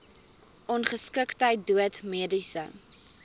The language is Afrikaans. ongeskiktheid dood mediese